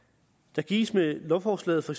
der gives med lovforslaget for